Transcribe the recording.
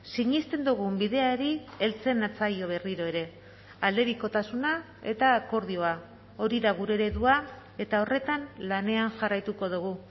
sinesten dugun bideari heltzen natzaio berriro ere aldebikotasuna eta akordioa hori da gure eredua eta horretan lanean jarraituko dugu